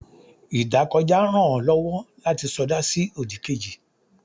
idakojá rán o lowo lati soda si odí kéjí